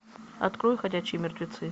открой ходячие мертвецы